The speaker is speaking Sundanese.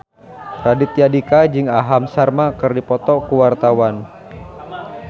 Raditya Dika jeung Aham Sharma keur dipoto ku wartawan